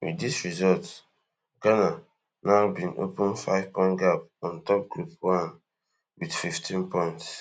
wit dis result ghana now bin open fivepoint gap on top group one wit fifteen points